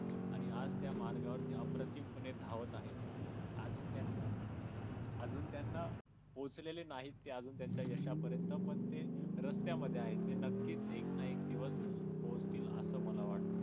आणि आज त्या मार्गावर अप्रतिमपणे धावत आहे. अजून त्यांन अजून त्यांना पोचलेले नाहीत ते त्यांच्या यशापर्यंत पण ते रस्त्यामध्ये आहेत ते नक्कीच एक ना एक दिवस पोहोचतील असं मला वाटतं.